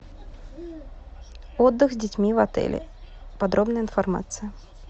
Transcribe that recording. отдых с детьми в отеле подробная информация